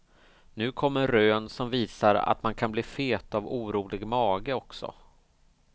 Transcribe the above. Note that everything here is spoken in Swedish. Nu kommer rön som visar att man kan bli fet av orolig mage också.